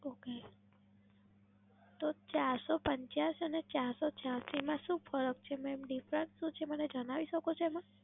Okay, તો ચારસો પંચ્યાશી અને ચારસો છ્યાંસી માં શું ફરક છે? દેખાડીશો મને? જણાવી શકો તમે?